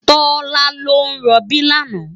Tola ló n ròbí làná